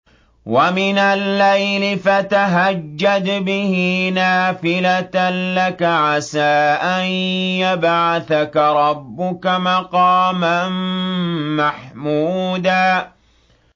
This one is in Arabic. وَمِنَ اللَّيْلِ فَتَهَجَّدْ بِهِ نَافِلَةً لَّكَ عَسَىٰ أَن يَبْعَثَكَ رَبُّكَ مَقَامًا مَّحْمُودًا